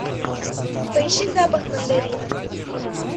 поищи запах мандарина